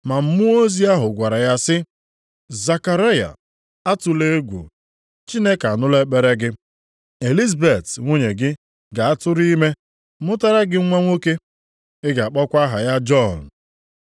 Ma mmụọ ozi ahụ gwara ya sị, “Zekaraya atụla egwu, Chineke anụla ekpere gị. Elizabet nwunye gị ga-atụrụ ime mụtara gị nwa nwoke. Ị ga-akpọkwa aha ya Jọn.